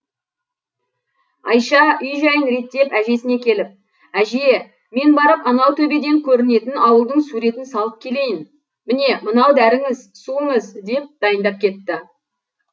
айша үй жайын реттеп әжесіне келіп әже мен барып анау төбеден көрінетін ауылдың суретін салып келейін міне мынау дәріңіз суыңыз деп дайындап кетті